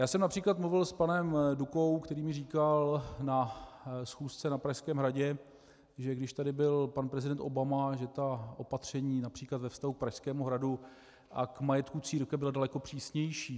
Já jsem například mluvil s panem Dukou, který mi říkal na schůzce na Pražském hradě, že když tady byl pan prezident Obama, že ta opatření například ve vztahu k Pražskému hradu a k majetku církve byla daleko přísnější.